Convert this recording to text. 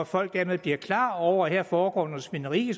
folk dermed bliver klar over at der foregår noget svineri